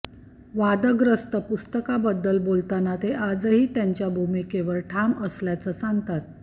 वादग्रस्त पुस्तकाबदद्ल बोलताना ते आजही त्यांच्या भूमिकेवर ठाम असल्याचं सांगतात